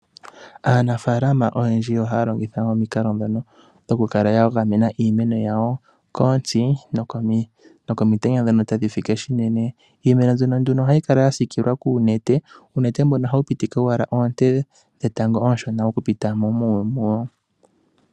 Aanafaalama oyendji oha ya longitha omikalo dhokugamena iimeno yawo kontsi, nokomitenya dhono tadhi fike shinene. Iimeno mbyono ohayi kala ya siikilwa kuunete mboka hawu ptike owala oonte dhetango oonshona dhi pite mo muwo.